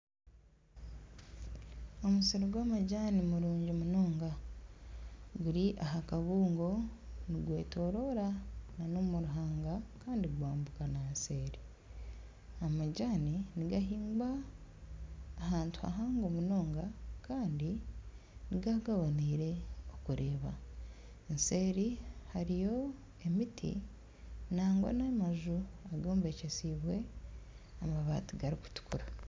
Omusiri gw'amajani murungi munonga guri aha kabungo, nigwetoroora nana omu ruhanga kandi gwambuka na seeri, amajaani nigahingwa ahantu hahango munonga kandi nigaba gaboneire okureeba, eseeri hariyo emiti nangwa n'amaju agombekyesiibwe amabaati garikutukura